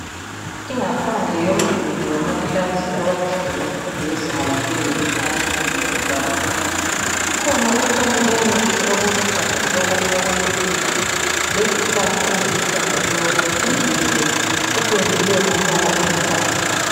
Ingaphandle yomduli wamaklasi abafundi bemfundo yezinga laphezulu esingathi kusesekhondari. Kukhona utshani obuhle obuluhlaza tshoko obokucecisa. Lezihlahla eziluhlaza tshoko. Umduli lo upendiwe ngombala olithanga.